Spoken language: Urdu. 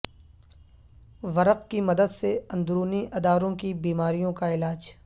ورق کی مدد سے اندرونی اداروں کی بیماریوں کا علاج